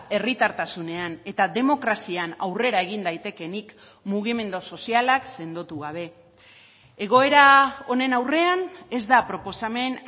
herritartasunean eta demokrazian aurrera egin daitekeenik mugimendu sozialak sendotu gabe egoera honen aurrean ez da proposamen